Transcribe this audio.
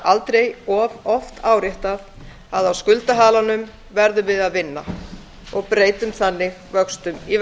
það aldrei of oft áréttað að á skuldahalanum verðum við að vinna breytum vöxtum í